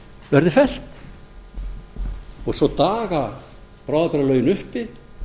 verði fellt og svo daga bráðabirgðalögin uppi